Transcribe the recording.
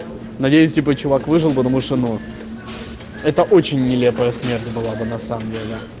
надеюсь типа чувак выжел потому что ну это очень нелепая смерть была бы на самом деле